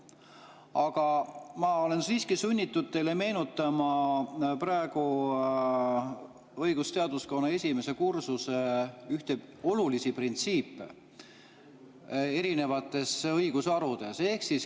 Aga ma olen siiski sunnitud teile meenutama õigusteaduskonna esimese kursuse üht olulist printsiipi erinevates õigusharudes.